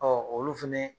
olu fɛnɛ